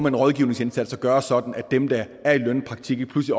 en rådgivningsindsats at gøre det sådan at dem der er i lønnet praktik ikke pludselig